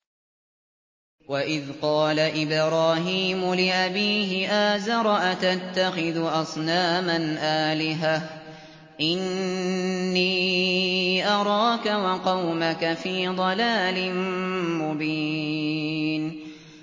۞ وَإِذْ قَالَ إِبْرَاهِيمُ لِأَبِيهِ آزَرَ أَتَتَّخِذُ أَصْنَامًا آلِهَةً ۖ إِنِّي أَرَاكَ وَقَوْمَكَ فِي ضَلَالٍ مُّبِينٍ